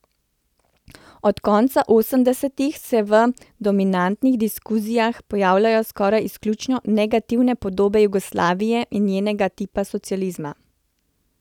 Od konca osemdesetih se v dominantnih diskurzih pojavljajo skoraj izključno negativne podobe Jugoslavije in njenega tipa socializma.